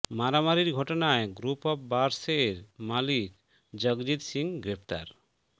মারামারির ঘটনায় group of bars এর মালিক জগজিত্ সিং গ্রেফতার